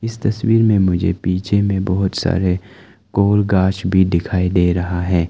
इस तस्वीर में मुझे पीछे में बहोत सारे गोल गास भी दिखाई दे रहा है।